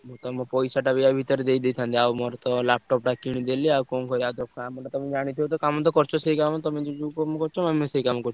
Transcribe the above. ତମ ପଇସାଟା ବି ଆ ଭିତରେ ଦେଇଦେଇଥାନ୍ତି। ଆଉ ମୋର ତ laptop ଟା କିଣିଦେଲି ଆଉ କଣ କରିଆ କାମଟା ତମେ ଜାଣିଥିବ ତ କାମ ତ କରୁଚ ସେଇ କାମ ତମେ ଯୋଉ ଯୋଉ କରୁଚ ଆମେ ସେଇ କାମ କରୁଚୁ।